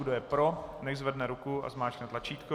Kdo je pro, nechť zvedne ruku a zmáčkne tlačítko.